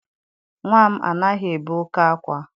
Nnwa m anaghị ebe oké ákwá